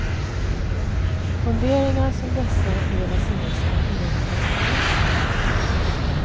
Funderingar som dessa är vad semestern egentligen är till för.